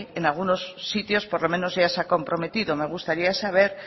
en algunos sitios por lo menos ya se ha comprometido me gustaría saber